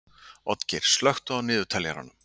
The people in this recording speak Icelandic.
Oddgeir, slökktu á niðurteljaranum.